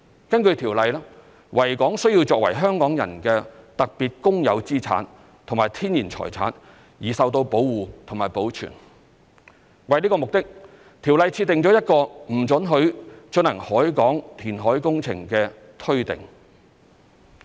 根據《條例》，維港須作為香港人的特別公有資產和天然財產而受到保護和保存。為此目的，《條例》設定一個不准許進行海港填海工程的推定。